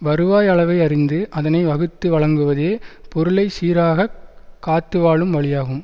வருவாய் அளவை அறிந்து அதனை வகுத்து வழங்குவதே பொருளை சீராகக் காத்து வாழும் வழியாகும்